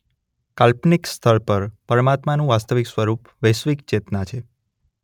કાલ્પનિક સ્તર પર પરમાત્માનું વાસ્તવિક સ્વરૂપ વૈશ્વિક ચેતના છે.